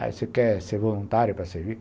Ah, você quer ser voluntário para servir?